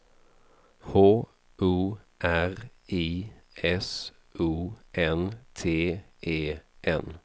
H O R I S O N T E N